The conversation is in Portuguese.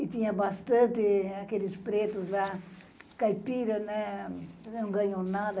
E tinha bastante aqueles pretos lá, caipiras, né, não ganham nada.